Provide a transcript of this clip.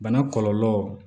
Bana kɔlɔlɔ